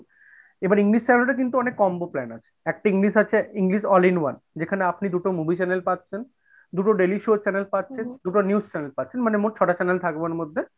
এবার English channel এর ও কিন্তু অনেক combo plan আছে, একটা English channel আছে English all in one, যেখানে আপনি দুইটা movie channel পাচ্ছেন দুটো daily show channel পাচ্ছেন, দুটো news channel পাচ্ছেন মানে মোট ছয়টা channel থাকবে ওর মধ্যে,